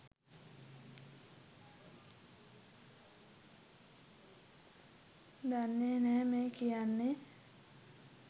දන්නේ නැහැ මේ කියන්නේ.